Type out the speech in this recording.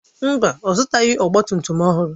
Mba, ọ zụtaghị ọgba tum tum ọhụrụ.